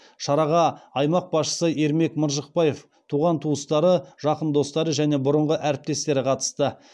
шараға аймақ басшысы ермек маржықпаев туған туыстары жақын достары және бұрынғы әріптестері қатысты